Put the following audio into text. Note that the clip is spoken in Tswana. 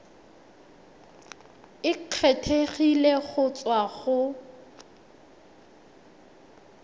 e kgethegileng go tswa go